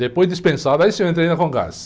Depois dispensado, aí sim eu entrei na.